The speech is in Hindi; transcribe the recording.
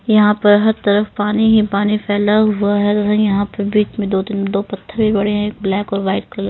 यहां पर हर तरफ पानी ही पानी फैला हुआ है यहां पर बीच में दो तीन दो पत्थर भी बड़े हैं एक ब्लैक और वाइट --